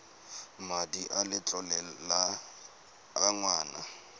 madi a letlole a ngwana